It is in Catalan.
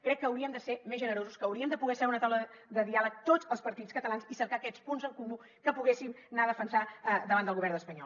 crec que hauríem de ser més generosos que hauríem de poder seure a la taula de diàleg tots els partits catalans i cercar aquests punts en comú que poguéssim anar a defensar davant del govern espanyol